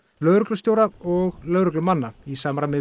lögreglustjóra og lögreglumanna í samræmi